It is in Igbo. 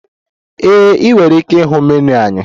Ee, ị nwere ike ịhụ menu anyị.